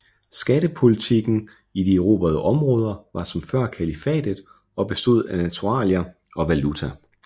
Skattepolitikken i de erobrede områder var som før kalifatet og bestod af naturalier og valuta